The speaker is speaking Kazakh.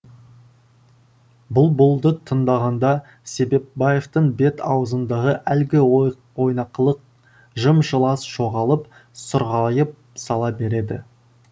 бұлбұлды тыңдағанда себепбаевтың бет аузындағы әлгі ойнақылық жым жылас жоғалып сұрғайып сала береді